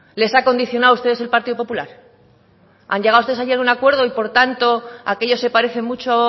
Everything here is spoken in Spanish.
les ha condicionado a ustedes el partido popular han llegado ustedes allí a un acuerdo y por tanto aquello se parece mucho